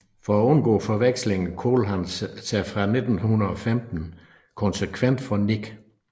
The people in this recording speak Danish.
For at undgå forveksling kaldte han sig fra 1915 konsekvent for Nic